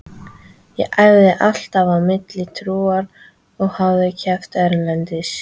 Ég æfði alltaf á milli túra og hafði keppt erlendis.